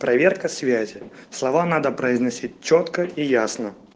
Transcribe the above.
проверка связи слова надо произносить чётко и ясно